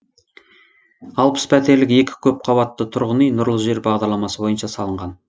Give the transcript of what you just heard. алпыс пәтерлік екі көпқабатты тұрғын үй нұрлы жер бағдарламасы бойынша салынған